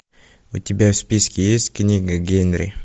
у тебя в списке есть книга генри